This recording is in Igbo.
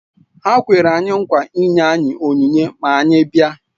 Ha kwere anyị nkwa ịnye anyị onyinye ma anyị bịa